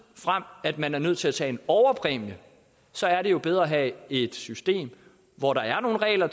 frem at man er nødt til at tage en overpræmie så er det jo bedre at have et system hvor der er nogle regler